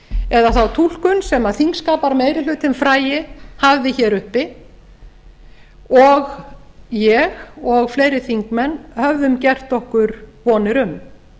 eða þá túlkun sem þingskapameirihlutinn frægi hafði hér uppi og ég og fleiri þingmenn höfðum gert okkur vonir um